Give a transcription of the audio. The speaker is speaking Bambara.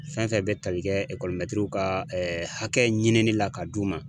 Fɛn fɛn be ta li kɛ ekɔlimɛtiriw ka hakɛ ɲini ni la ka d'u ma